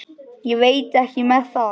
Ég veit ekki með það.